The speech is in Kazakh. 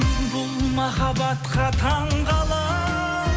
бұл махабатқа таңғаламын